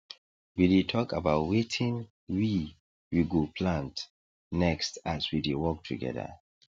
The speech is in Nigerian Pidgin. we dey talk about wetin we we go plant next as we dey work together